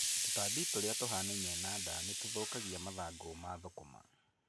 Tũtambi tũrĩa tũhanaine na ndaa nĩtũthũkagia mathangũ ma thũkũma.